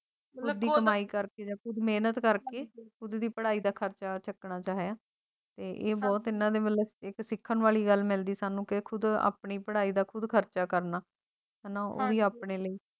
ਵਡੀ ਕਮਾਈ ਕਰਕੇ ਦੇ ਖੁਦ ਮਿਹਨਤ ਕਰਕੇ ਸਕੂਲ ਦੀ ਪੜ੍ਹਾਈ ਦਾ ਖਰਚਾ ਚੁੱਕਣ ਅਤੇ ਹੈ ਇਹ ਬਹੁਤ ਨਜ਼ਦੀਕ ਸਿੱਖਣ ਵਾਲੀ ਗੱਲ ਮਿਲਦੀ ਤਾਂ ਉਹ ਖੁਦ ਆਪਣੀ ਪੜ੍ਹਾਈ ਦਾ ਖਰਚਾ ਕਰਨਾ ਉਹ ਵੀ ਆਪਣੀ ਲੀਯੇ